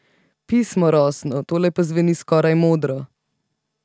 Pismo rosno, tole pa zveni skoraj modro.